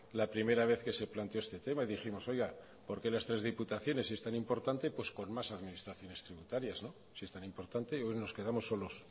la primera vez que se planteó este tema y dijimos oiga porque las tres diputaciones si es tan importante pues con más administraciones tributarias no si es tan importante yo creo que nos quedamos solos